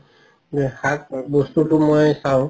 শাক বস্তুতো মই চাও